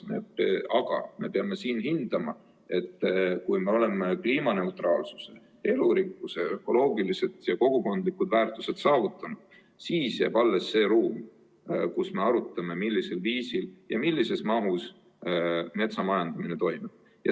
Aga me peame mõistma, et kui me oleme kliimaneutraalsuse, elurikkuse, ökoloogilised ja kogukondlikud väärtused saavutanud, siis jääb alles see ruum, kus me arutame, millisel viisil ja millises mahus metsamajandamine toimub.